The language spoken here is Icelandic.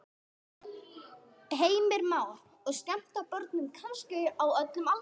Heimir Már: Og skemmta börnum kannski á öllum aldri?